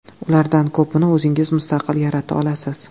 Ulardan ko‘pini o‘zingiz mustaqil yarata olasiz.